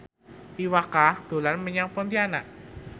Iwa K dolan menyang Pontianak